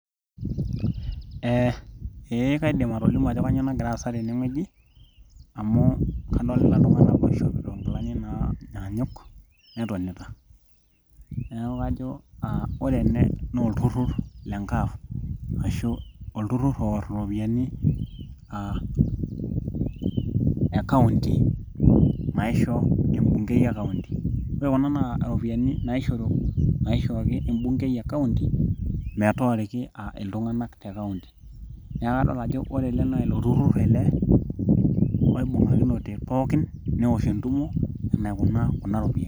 eh, ee kaidim atolimu ajo kanyioo nagira aasa tenewueji amu kadolita iltung'anak oishopito inkilani nanyaanyuk netonita neeku kajo ore ele naa olturrur le NGAAF ashu olturrur oworr iropiyiani uh e kaunti naisho embungei e kaunti ore kuna naa iropiani naishori, naishooki embungei e kaunti metooriki iltung'anak te kaunti niaku kadol ajo ore ele naa ilo turrur ele oibung'akinote pookin newosh entumo enaikunaa kuna ropiyiani.